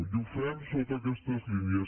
i ho fem sota aquestes línies